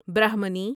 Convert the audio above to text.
برہمنی